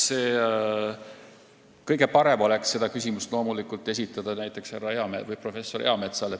Ma arvan, et kõige parem oleks esitada see näiteks professor Eametsale.